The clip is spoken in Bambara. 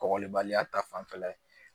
Kɔgɔlibaliya ta fanfɛla ye